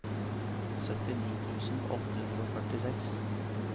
syttini tusen åtte hundre og førtiseks